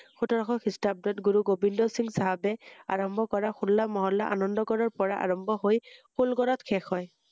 সোতৰশ খীস্টাব্দৰত গুৰু গোবিন্দ সিং চাহাবে আৰম্ভ কৰা হোল্লা মহল্লা আনন্দ গড়ৰপৰা আৰম্ভ হৈ ফুল গড়ত শেষ হয়৷